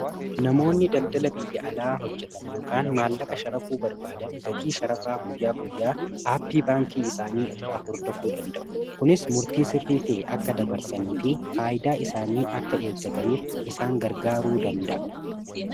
namoonni daldala biyya alaa hojjetan ykn maallaqa sharafuu barbaadan gatii sharafaa buyyaa guyyaa aappii baankii isaanii irraa hordofuu danda'u kunis murtii sirrii ta'e akka dabarsanii fi faayidaa isaanii akka eeggataniif isaan gargaaruu danda'u